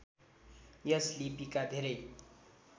यस लिपिका धेरै